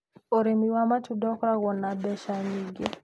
Ũrimi wa matunda ũkoragwo na mbeca nyingĩ.